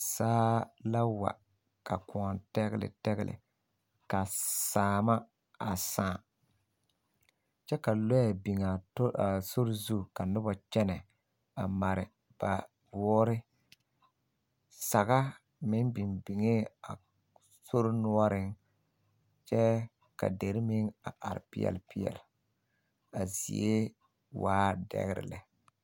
Saa la wa ka kõɔ tɛgle ka saama a saa kyɛ ka lɔɛ biŋ a sori zu ka noba kyɛnɛ a mare ba woore saga meŋ biŋ biŋee a sori noɔreŋ kyɛ ka dere meŋ a are peɛle peɛle a zie waa dɛgre.